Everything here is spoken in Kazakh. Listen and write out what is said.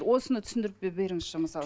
осыны түсіндіріп беріңізші мысалы